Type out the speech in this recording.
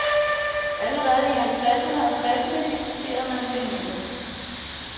Allerede i halvtredserne og tresserne diskuterede man fænomenet.